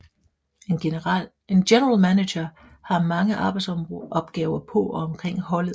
En General Manager har mange arbejdsopgaver på og omkring holdet